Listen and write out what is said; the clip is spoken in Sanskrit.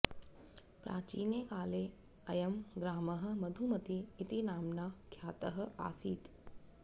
प्राचीने काले अयं ग्रामः मधुमती इति नाम्ना ख्यातः आसीत्